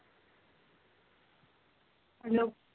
hello